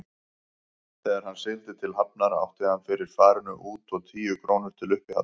Þegar hann sigldi til Hafnar átti hann fyrir farinu út og tíu krónur til uppihalds.